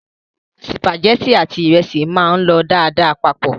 Sìpàgẹ́tì àti ìrẹsì máa ń lọ dáadáa papọ̀.